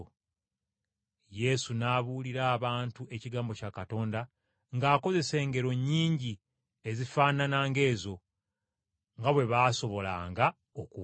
Yesu n’abuulira abantu ekigambo kya Katonda ng’akozesa engero nnyingi ezifaanana ng’ezo, nga bwe baasobolanga okuwulira.